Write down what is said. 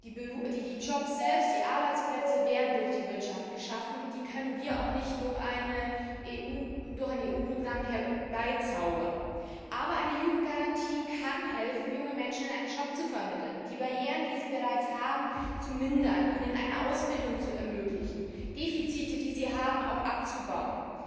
Die Jobs selbst, die Arbeitsplätze, werden durch die Wirtschaft geschaffen, und die können wir auch nicht durch ein EU Programm herbeizaubern. Aber eine Jugendgarantie kann helfen, jungen Menschen einen Job zu vermitteln, die Barrieren, die sie bereits haben, zu mindern, ihnen eine Ausbildung zu ermöglichen, Defizite, die sie haben, abzubauen.